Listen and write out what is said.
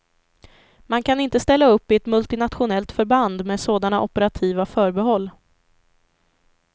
Man kan inte ställa upp i ett multinationellt förband med sådana operativa förbehåll.